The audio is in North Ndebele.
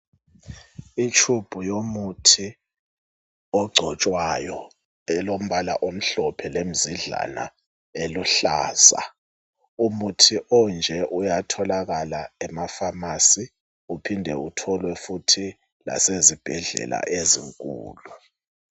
Itshubhu yomuthi ogcotshwayo elombala omhlophe lemzidlana eluhlaza. Umuthi onje uyatholakala emafamasi ulhinde utholwe futhi lasezibhedlela ezinkulu